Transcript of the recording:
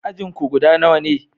Ajin ku guda nawa ne?